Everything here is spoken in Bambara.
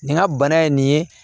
Nin ka bana ye nin ye